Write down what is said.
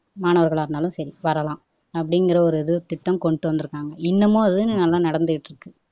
மாணவர்களா இருந்தாலும் சரி வரலாம் அப்படிங்கிற ஒரு இது திட்டம் கொண்டுட்டு வந்துருக்காங்க இன்னமும் இது எல்லாம் நடந்துகிட்டு இருக்கு